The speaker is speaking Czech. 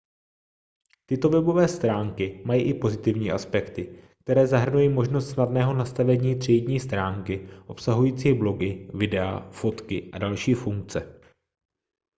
tyto webové stránky mají i pozitivní aspekty které zahrnují možnost snadného nastavení třídní stránky obsahující blogy videa fotky a další funkce